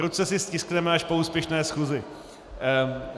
Ruce si stiskneme až po úspěšné schůzi .